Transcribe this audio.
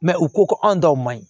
u ko ko anw taw man ɲi